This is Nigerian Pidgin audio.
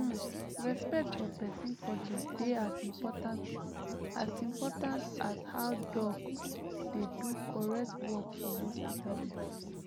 hmmm respect for peson culture dey as important as important as how doc dey do correct work for hospital dem